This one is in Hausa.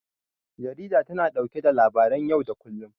Jarida tana ɗauke da labaran yau da kullum.